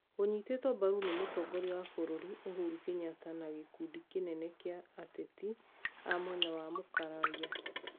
Ũnyitetwo mbaru nĩ mũtongoria wa bũrũri Uhuru Kenyatta na gĩkundi kĩnene kĩa ateti a mwena wa Mũkararia.